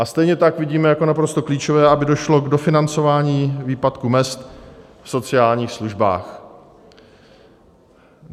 A stejně tak vidíme jako naprosto klíčové, aby došlo k dofinancování výpadku mezd v sociálních službách.